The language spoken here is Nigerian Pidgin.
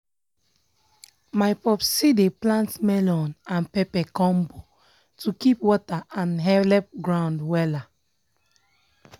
my popsi dey plant melon and pepper combo to keep water and helep ground wella.